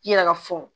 I yɛrɛ ka fɔ